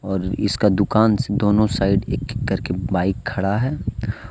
और इसका दुकान से दोनों साइड एक एक करके बाइक खड़ा है।